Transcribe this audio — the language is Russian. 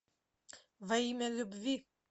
во имя любви